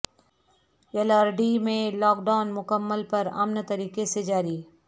یلاریڈی میں lockdown مکمل پرامن طریقہ سے جاری